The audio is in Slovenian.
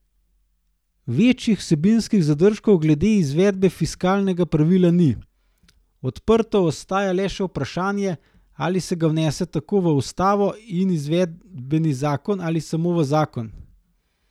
Večjih vsebinskih zadržkov glede izvedbe fiskalnega pravila ni, odprto ostaja le še vprašanje, ali se ga vnese tako v ustavo in izvedbeni zakon ali samo v zakon.